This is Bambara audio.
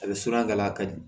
A bɛ surun a la a ka di